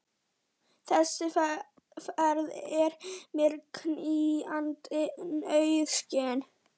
Þessi ferð er mér knýjandi nauðsyn.